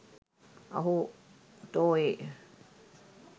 අහෝ තෝ ඒ